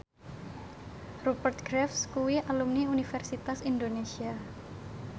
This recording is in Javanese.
Rupert Graves kuwi alumni Universitas Indonesia